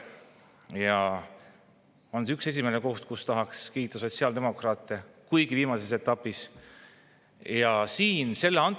See on esimene asi, mille eest tahaks kiita sotsiaaldemokraate, kuigi viimases etapis.